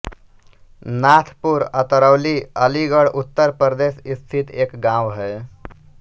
नाथपुर अतरौली अलीगढ़ उत्तर प्रदेश स्थित एक गाँव है